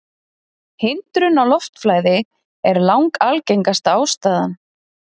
Hindrun á loftflæði er langalgengasta ástæðan.